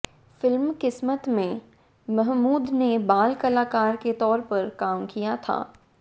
film Kismat में महमूद ने बाल कलाकर के तौर पर काम किया था